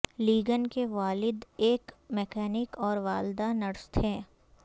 لیگن کے والد ایک مکینک اور والدہ نرس تھیں